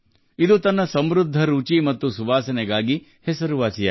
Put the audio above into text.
ಇದು ಶ್ರೀಮಂತ ಸುವಾಸನೆ ಮತ್ತು ಪರಿಮಳಕ್ಕೆ ಹೆಸರುವಾಸಿಯಾಗಿದೆ